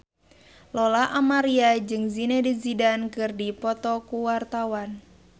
Lola Amaria jeung Zidane Zidane keur dipoto ku wartawan